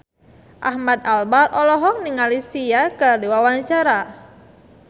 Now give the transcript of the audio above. Ahmad Albar olohok ningali Sia keur diwawancara